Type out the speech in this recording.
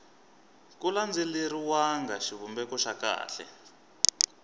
ku landzeleriwanga xivumbeko xa kahle